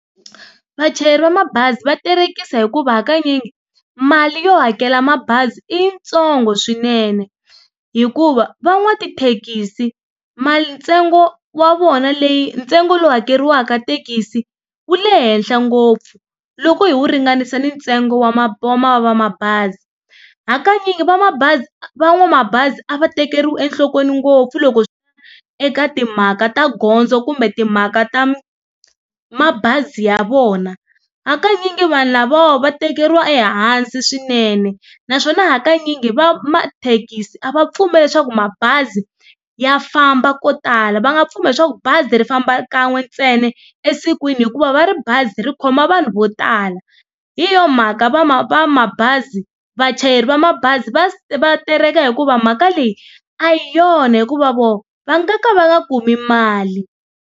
Vachayeri va mabazi va terekisa hikuva hakanyingi mali yo hakela mabazi i yi ntsongo swinene hikuva va n'watithekisi mali ntsengo wa vona leyi ntsengo lowu hakeriwaka thekisi wu le henhla ngopfu loko hi wu ringanisa ni ntsengo wa va mabazi. Hakanyingi va mabazi va n'wamabazi a va tekeriwi enhlokweni ngopfu loko eka timhaka ta gondzo kumbe timhaka ta mabazi ya vona. Hakanyingi vanhu lavawa va tekeriwa ehansi swinene naswona hakanyingi va mathekisi a va pfumeli leswaku mabazi ya famba ko tala va nga pfumela leswaku bazi ri famba kan'we ntsena esikwini hikuva va ri bazi ri khoma vanhu vo tala hi yona mhaka va va va mabazi vachayeri va mabazi va va tereka hikuva mhaka leyi a hi yona hikuva vona va nga ka va nga kumi mali.